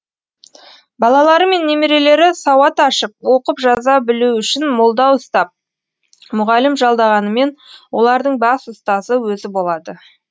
балалары мен немерелері сауат ашып оқып жаза білуі үшін молда ұстап мұғалім жалдағанымен олардың бас ұстазы өзі болады